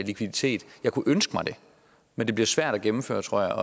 likviditet jeg kunne ønske mig det men det bliver svært at gennemføre tror jeg